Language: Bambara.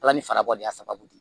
Ala ni farabɔ de y'a sababu ye